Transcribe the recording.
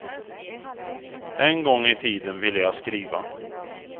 En gång i tiden ville jag skriva.